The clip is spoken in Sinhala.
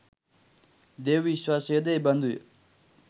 දේව විශ්වාසයද එබඳුය.